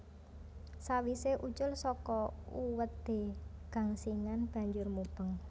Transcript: Sawisé ucul saka uwedé gangsingan banjur mubeng